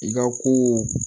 I ka ko